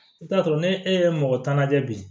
I bɛ t'a sɔrɔ ni e ye mɔgɔ tan lajɛ bi